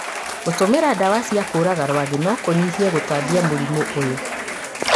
Gũtũmĩra ndawa cia kũũraga rwagĩ no kũnyihie gũtambia mũrimũ ũyũ.